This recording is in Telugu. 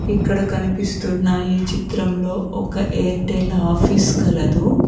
ఇక్కడ కనిపిస్తున్నాయి చిత్రంలో ఒక ఎయిర్టెల్ ఆఫీస్ కలదు.